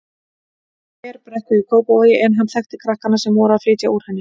Þverbrekku í Kópavogi en hann þekkti krakkana sem voru að flytja úr henni.